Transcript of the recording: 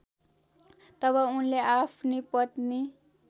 तब उनले आफ्नी पत्नी